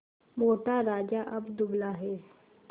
मोटा राजा अब दुबला है